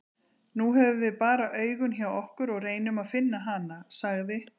Nú höfum við bara augun hjá okkur og reynum að finna hana, sagði